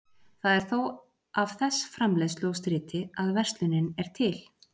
Það er þó af þess framleiðslu og striti að verslunin er til.